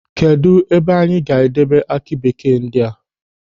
Kedụ ebe anyị ga-edebe aki bekee ndị a?